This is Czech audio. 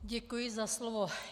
Děkuji za slovo.